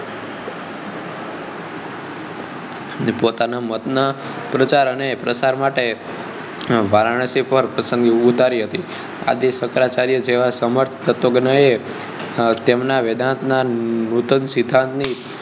પોતાના મતના પ્રચાર અને પ્રસાર માટે વારાણસી પર પસંદગી ઉતારી હતી આદિ શંકરાચાર્ય જેવા સમર્થ તત્વજ્ઞને તેમનાં વેદાંત નાં નૂતન સિદ્ધાંત ની